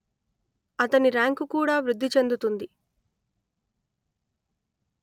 అతని ర్యాంకు కూడా వృద్ధి చెందుతుంది